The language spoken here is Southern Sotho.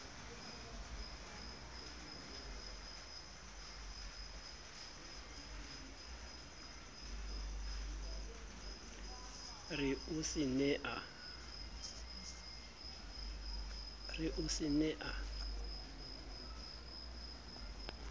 re o se ne a